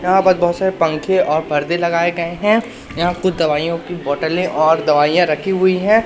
यहां पर बहुत सारे पंखे और पर्दे लगाए गए हैं यहां कुछ दवाइयों की बोतलें और दवाइयां रखी हुई हैं।